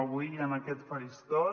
avui en aquest faristol